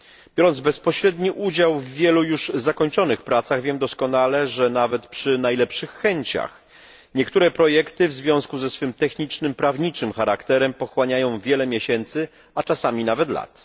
Biorąc bezpośredni udział w wielu już zakończonych pracach, wiem doskonale, że nawet przy najlepszych chęciach niektóre projekty w związku ze swym technicznym, prawniczym charakterem pochłaniają wiele miesięcy, a czasami nawet lat.